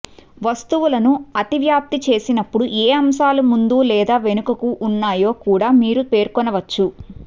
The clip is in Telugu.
వస్తువులను అతివ్యాప్తి చేసినప్పుడు ఏ అంశాలు ముందు లేదా వెనుకకు ఉన్నాయో కూడా మీరు పేర్కొనవచ్చు